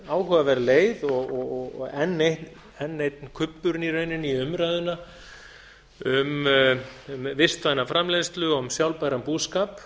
áhugaverð leið og enn einn kubburinn í rauninni í umræðuna um vistvæna framleiðslu og sjálfbæran búskap